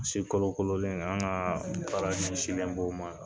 Si kolokololen an ka baara ɲɛsinlen b'o ma